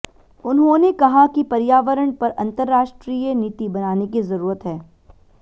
उन्होंने कहा कि पर्यावरण पर अंतरराष्ट्रीय नीति बनाने की जरूरत है